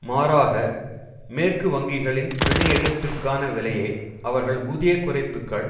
மாறாக மேற்கு வங்கிகளின் பிணை எடுப்பிற்கான விலையை அவர்கள் ஊதிய குறைப்புக்கள்